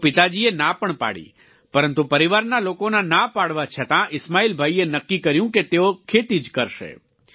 તો પિતાજીએ ના પણ પાડી પરંતુ પરિવારના લોકોના ના પાડવા છતાં ઈસ્માઈલભાઈએ નક્કી કર્યું કે તેઓ ખેતી જ કરશે